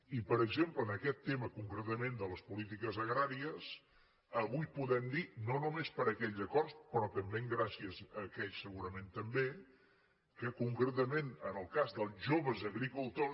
i per exemple en aquest tema concretament de les polítiques agràries avui podem dir no només per aquells acords però també gràcies a aquells segurament també que concretament en el cas dels joves agricultors